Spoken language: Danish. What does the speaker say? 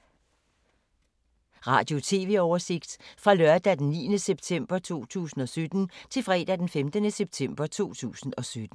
Radio/TV oversigt fra lørdag d. 9. september 2017 til fredag d. 15. september 2017